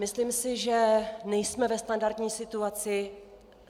Myslím si, že nejsme ve standardní situaci.